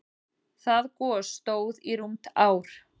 Það gos stóð í rúmt ár.